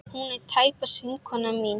Hún er tæpast vinkona mín.